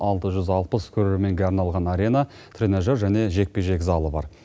алты жүз алпыс көрерменге арналған арена тренажер және жекпе жек залы бар